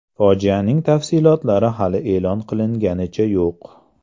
Fojianing tafsilotlari hali e’lon qilinganicha yo‘q.